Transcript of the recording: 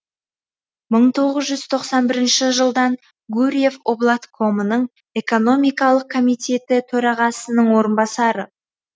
мың тоғыз жүз тоқсан бірінші жылдан гурьев облаткомының экономикалық комитеті төрағасының орынбасары